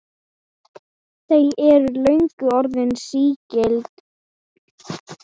Þau eru löngu orðin sígild.